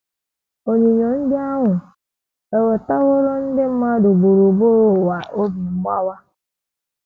Onyinyo ndị ahụ ewetaworo ndị mmadụ gburugburu ụwa obi mgbawa.